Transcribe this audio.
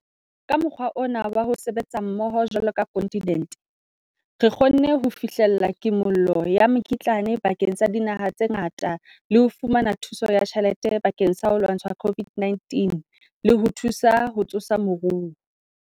Ka mokgwa ona wa ho sebetsa mmoho jwalo ka kontinente, re kgonne ho fihlella kimollo ya mekitlane bakeng sa dinaha tse ngata le ho fumana thuso ya tjhelete bakeng sa ho lwantsha COVID-19 le ho thusa ho tsosa moruo.